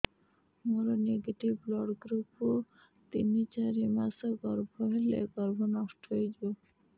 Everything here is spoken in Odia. ମୋର ନେଗେଟିଭ ବ୍ଲଡ଼ ଗ୍ରୁପ ତିନ ଚାରି ମାସ ଗର୍ଭ ହେଲେ ଗର୍ଭ ନଷ୍ଟ ହେଇଯାଉଛି